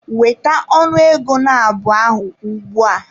Weta ọnụ ego nabụ ahụ ugbu a!